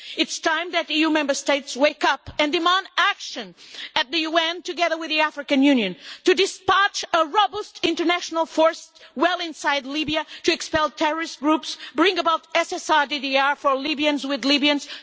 It is time for the EU Member States to wake up and demand action at the UN, together with the African Union, to dispatch a robust international force well inside Libya to expel terrorist groups and to bring about a society for Libyans with Libyans.